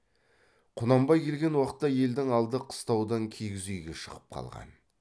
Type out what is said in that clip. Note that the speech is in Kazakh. құнанбай келген уақытта елдің алды қыстаудан киіз үйге шығып қалған